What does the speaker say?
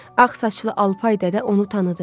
Ağ saçlı Alpay Dədə onu tanıdı.